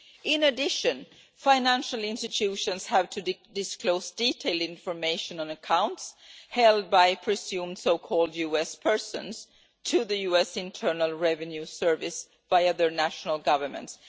In addition, financial institutions have to disclose detailed information on accounts held by presumed so-called US persons to the US Internal Revenue Service via their national governments.